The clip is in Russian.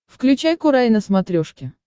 включай курай на смотрешке